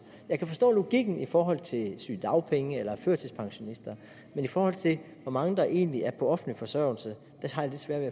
jeg kan forstå logikken i forhold til sygedagpenge eller førtidspensionister men i forhold til hvor mange der egentlig er på offentlig forsørgelse har jeg svært